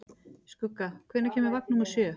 Skugga, hvenær kemur vagn númer sjö?